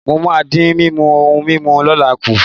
Mo máa dín mímu ohun mímu kólà kù.